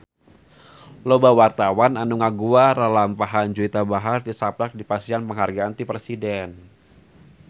Loba wartawan anu ngaguar lalampahan Juwita Bahar tisaprak dipasihan panghargaan ti Presiden